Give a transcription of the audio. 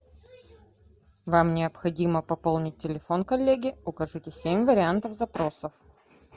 вам необходимо пополнить телефон коллеги укажите семь вариантов запросов